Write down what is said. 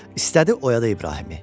İstədi oyada İbrahimi.